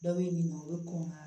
Dɔ bɛ ɲininka o ye kɔn ka